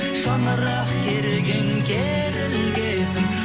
шаңырақ керілген керілгесін